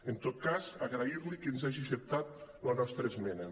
en tot cas agrair li que ens hagi acceptat la nostra esmena